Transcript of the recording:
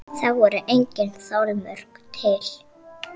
Eru þá engin þolmörk til?